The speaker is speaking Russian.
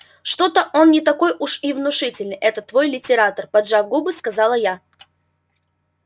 что-то он не такой уж и внушительный этот твой литератор поджав губы сказала я